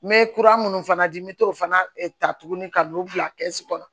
Me kura minnu fana di n bɛ t'o fana ta tuguni ka n'o bila kɛsu kɔnɔ